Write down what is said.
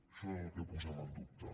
això és el que posem en dubte